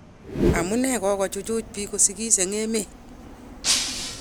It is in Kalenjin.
Amu nee kokochuchuj bik kosigis eng emet?